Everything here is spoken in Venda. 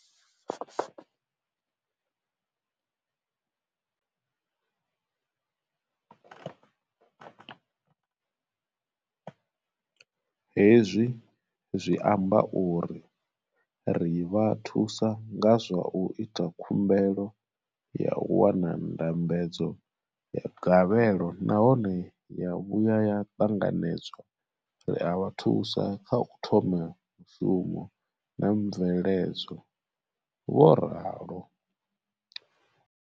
Hezwi zwi amba uri ri vha thusa nga zwa u ita khumbelo ya u wana ndambedzo ya gavhelo nahone ya vhuya ya ṱanganedzwa, ri a vha thusa kha u thoma mushumo na mveledzo, vho ralo.